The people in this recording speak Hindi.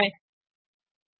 और एंटर दबाएँ